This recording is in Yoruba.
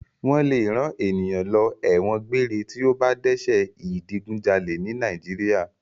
Wọ́n lè rán ènìyàn lọ ẹ̀wọ̀n gbére tí ó bá dẹ́ṣẹ̀ ìdigunjalè ní Nàìjíríà.